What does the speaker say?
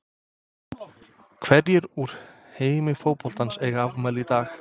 Hverjir úr heimi fótboltans eiga afmæli í dag?